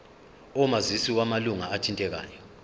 omazisi wamalunga athintekayo